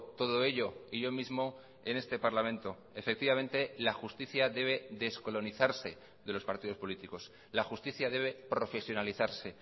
todo ello y yo mismo en este parlamento efectivamente la justicia debe descolonizarse de los partidos políticos la justicia debe profesionalizarse